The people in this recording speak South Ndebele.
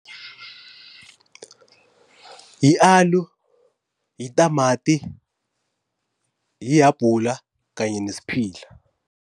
Yi-aloe, yitamati, yihabula kanye nesphila.